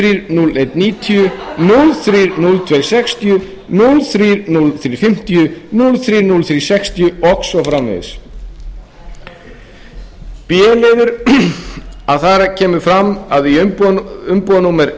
núll þrír núll einn níutíu núll þrír núll tveir sextíu núll þrír núll þrír fimmtíu núll þrír núll þrír sextíu og svo framvegis b liður þar kemur fram umbúðanúmerið sautján núll einn